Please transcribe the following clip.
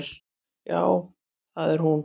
Já, það er hún.